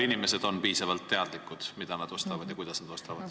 Inimesed on ise piisavalt teadlikud, mida ja kuidas nad ostavad.